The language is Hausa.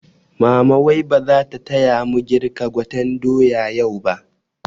Mama wai bazata taya mu girka gwaten doya yau ba?